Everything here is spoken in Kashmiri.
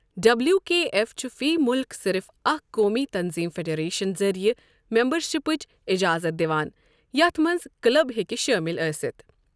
ڈبلیو کے ایف چھُ فی مُلک صرف اکھ قومی تنظیٖم فیڈریشن ذٔریعہٕ میمبَرشِپٕچ اجازت دِوان یَتھ منٛز کٕلب ہٮ۪کہِ شٲمِل ٲسِتھ